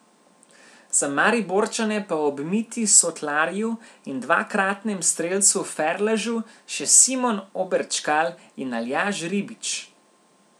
Za Mariborčane pa ob Mitji Sotlarju in dvakratnem strelcu Ferležu še Simon Oberčkal in Aljaž Ribič.